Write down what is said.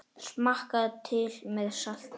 Smakkað til með salti.